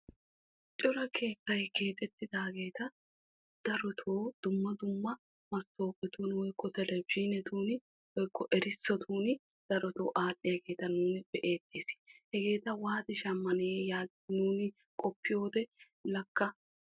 Cora keettay keexetidaaga darotto dumma dumma buqurattun aaxxiyaagetta nuun be'eettees hegeetta shamanawu daro marccuwa koshees.